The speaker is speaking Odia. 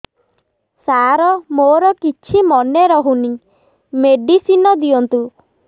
ସାର ମୋର କିଛି ମନେ ରହୁନି ମେଡିସିନ ଦିଅନ୍ତୁ